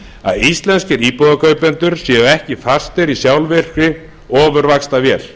að íslenskir íbúðakaupendur séu ekki fastir í sjálfvirkri ofurvaxtavél það er